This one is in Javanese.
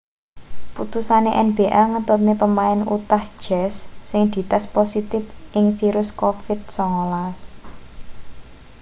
putusane nba ngetutne pemain utah jazz sing dites positip ing virus covid-19